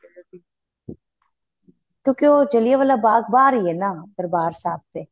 ਉਹ ਜਲਿਆਂਵਾਲਾ ਬਾਗ ਬਹਾਰ ਹੀ ਏ ਦਰਬਾਰ ਸਾਹਿਬ ਦੇ